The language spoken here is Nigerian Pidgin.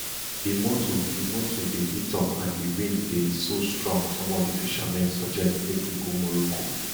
di motor di motor dey heat up and di wind dey so strong some of di fishermen suggest make we go morocco